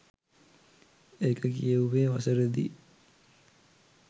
ඒක කියෙව්වේ වසරෙදි